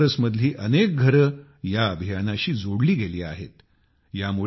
आज बनारसमधली अनेक घरे या अभियानाशी जोडली गेली आहेत